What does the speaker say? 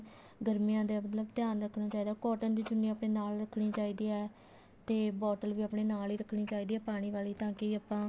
ਗਰਮੀਆਂ ਦਾ ਮਤਲਬ ਧਿਆਨ ਰੱਖਣਾ ਚਾਹੀਦਾ cotton ਦੀ ਚੁੰਨੀ ਆਪਣੇ ਨਾਲ ਰੱਖਣੀ ਚਾਹੀਦੀ ਹੈ ਤੇ bottle ਵੀ ਆਪਣੇ ਨਾਲ ਹੀ ਰੱਖਣੀ ਚਾਹੀਦੀ ਹੈ ਪਾਣੀ ਵਾਲੀ ਤਾਂ ਕਿ ਆਪਾਂ